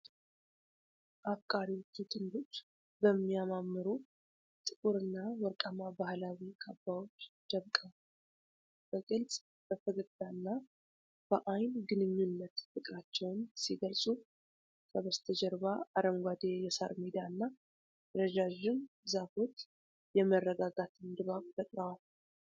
አፍቃሪዎቹ ጥንዶች በሚያማምሩ ጥቁርና ወርቃማ ባህላዊ ካባዎች ደምቀዋል። በግልጽ በፈገግታና በዓይን ግንኙነት ፍቅራቸውን ሲገልጹ፤ ከበስተጀርባ አረንጓዴ የሳር ሜዳና ረዣዥም ዛፎች የመረጋጋት ድባብን ፈጥረዋል።